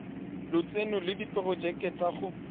lotseno le diporojeke tsa go